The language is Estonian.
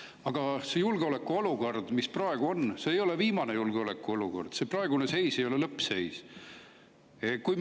Aga see julgeolekuolukord, mis praegu on, ei ole julgeolekuolukord, see praegune seis ei ole lõppseis.